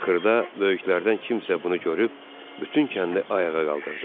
Axırda böyüklərdən kimsə bunu görüb bütün kəndi ayağa qaldırdı.